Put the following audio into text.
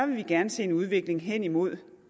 vil vi gerne set en udvikling hen imod